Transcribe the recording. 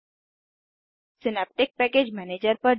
synaptic package manager synaptic package manager पर जाएँ